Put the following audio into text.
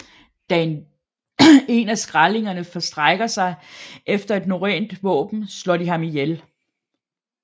Da en af skrællingerne strækker sig efter et norrønt våben slår de ham ihjel